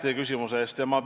Aitäh küsimuse eest!